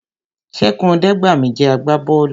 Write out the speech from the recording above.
Ṣẹ́gun Ọdẹgbami jẹ́ àgbà bọ́ọ̀lù